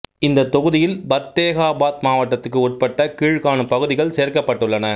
இந்த தொகுதியில் பத்தேகாபாத் மாவட்டத்துக்கு உட்பட்ட கீழ்க்காணும் பகுதிகள் சேர்க்கப்பட்டுள்ளன